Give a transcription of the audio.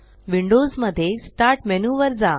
Windows मध्ये start menu वर जा